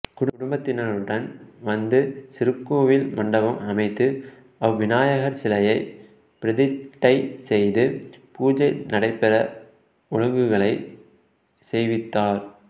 குடும்பத்தினருடன் வந்து சிறு கோவில் மண்டபம் அமைத்து அவ் விநாயகர் சிலையை பிரதிட்டை செய்து பூஜை நடைபெற ஒழுங்குகளை செய்வித்தார்